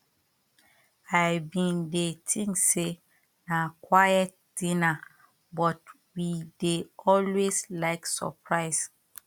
i been dey think say na quite dinner but we dey always like surprise